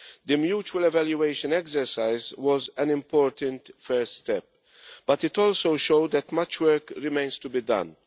The mutual evaluation exercise was an important first step, but it also showed that much work remains to be done.